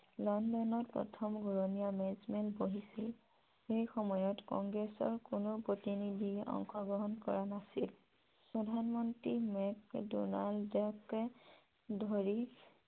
লণ্ডনত প্ৰথম ঘুৰনীয়া মেজমেল বহিছিল । সেই সময়ত কংগ্ৰেছৰ কোনো প্ৰতিনিধিয়ে অংশগ্ৰহন কৰা নাছিল । প্ৰধানমন্ত্ৰী মেক ডনাল্ডকে ধৰি